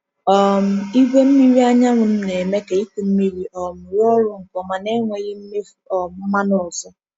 um Igwe mmiri anyanwụ m na-eme ka ịkụ mmiri um rụọ ọrụ nke ọma na-enweghị mmefu um mmanụ ọzọ.